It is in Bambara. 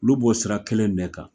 Olu b'o sira kɛlɛ in de kan